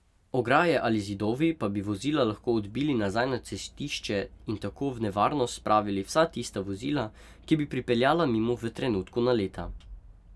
Ograje ali zidovi pa bi vozila lahko odbili nazaj na cestišče in tako v nevarnost spravili vsa tista vozila, ki bi pripeljala mimo v trenutku naleta.